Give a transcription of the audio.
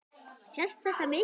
Sést þetta mikið?